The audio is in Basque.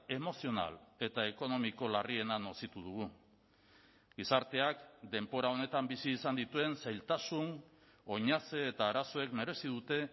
emozional eta ekonomiko larriena nozitu dugu gizarteak denbora honetan bizi izan dituen zailtasun oinaze eta arazoek merezi dute